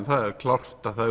það er klárt að